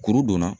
Kuru donna